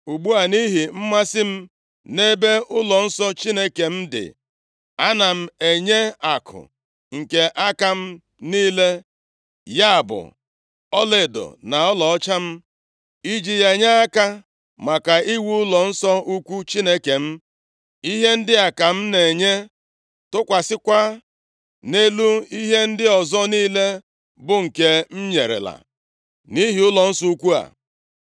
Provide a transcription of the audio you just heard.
Ugbu a, nʼihi mmasị m nʼebe ụlọnsọ Chineke m dị, ana m enye akụ nke aka m niile, ya bụ ọlaedo na ọlaọcha m, iji ya nye aka, maka iwu ụlọnsọ ukwu Chineke m. Ihe ndị a ka m na-enye, tụkwasịkwa nʼelu ihe ndị ọzọ niile bụ nke m nyerela, nʼihi ụlọnsọ ukwu a: